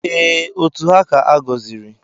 Ee, otu ha ka-agọziri.